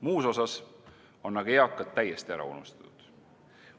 Muus osas on aga eakad täiesti ära unustatud.